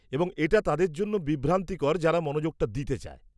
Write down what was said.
-এবং এটা তাদের জন্য বিভ্রান্তিকর যারা মনোযোগটা দিতে চায়।